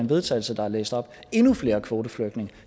vedtagelse der er læst op endnu flere kvoteflygtninge